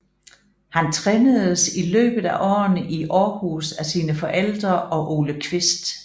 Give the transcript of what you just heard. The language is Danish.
Han trænedes i løbet af årene i Aarhus af sine forældre og Ole Kvist